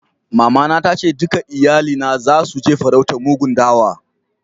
Mama na ta ce dukan iyalina zasu je farautar mugun dawa.